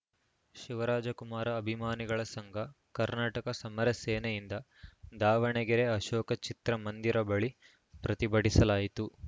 ಶಿವರಾಜಕುಮಾರ ಅಭಿಮಾನಿಗಳ ಸಂಘ ಕರ್ನಾಟಕ ಸಮರ ಸೇನೆಯಿಂದ ದಾವಣಗೆರೆ ಅಶೋಕ ಚಿತ್ರ ಮಂದಿರ ಬಳಿ ಪ್ರತಿಭಟಿಸಲಾಯಿತು